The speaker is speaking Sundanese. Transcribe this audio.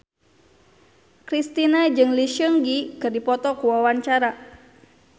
Kristina jeung Lee Seung Gi keur dipoto ku wartawan